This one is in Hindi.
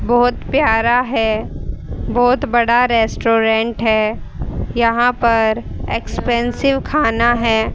बहोत प्यारा है बहोत बड़ा रेस्टोरेंट है यहां पर एक्सपेंसिव खाना है।